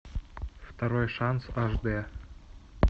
второй шанс аш д